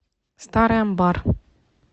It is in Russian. старый амбар